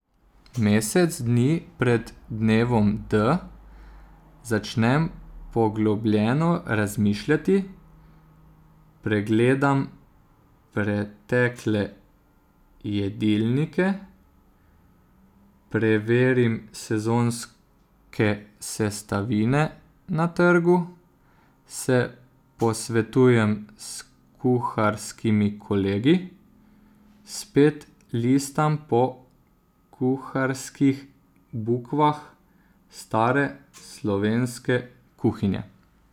Mesec dni pred dnevom D začnem poglobljeno razmišljati, pregledam pretekle jedilnike, preverim sezonske sestavine na trgu, se posvetujem s kuharskimi kolegi, spet listam po kuharskih bukvah stare slovenske kuhinje.